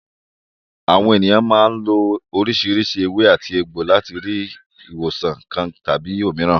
Àwọn ènìyàn máa ń lo oríṣiríṣi ewé-àtegbò láti rí ìwòsàn kan tàbí òmíràn.